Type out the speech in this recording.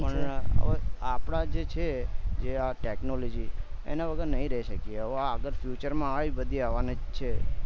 પણ એમાં આપડા જે છે એ આ technology એના વગર નહી રઈ શકીએ હવે આગળ future માં આવ્યું કે બધું આવાનું છે